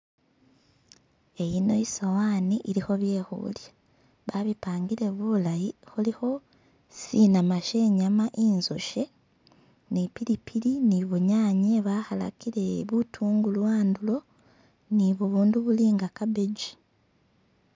Iyino isowani ilikho bye khulya babipangile bulayi khulikho sinama she nyama inzoshe ni pilipili ni bunyanye bakhalakile butungulu andulo ni bubundu buli nga cabbagi.